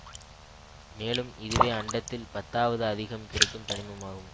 மேலும் இதுவே அண்டத்தில் பத்தாவது அதிகம் கிடைக்கும் தனிமம் ஆகும்